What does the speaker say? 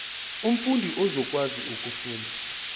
umfundi uzokwazi ukufunda